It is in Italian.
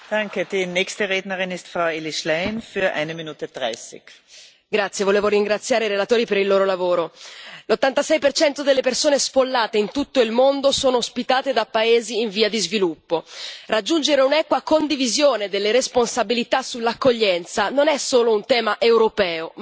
Signora Presidente, onorevoli colleghi, volevo ringraziare i relatori per il loro lavoro. L'86 delle persone sfollate in tutto il mondo sono ospitate da paesi in via di sviluppo. Raggiungere un'equa condivisione delle responsabilità sull'accoglienza non è solo un tema europeo, ma globale.